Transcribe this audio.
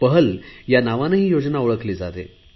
पहल या नावाने ही योजना ओळखली जाते